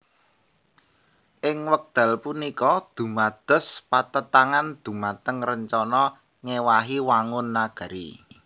Ing wekdal puniku dumados patentangan dhumateng rencana ngéwahi wangun nagari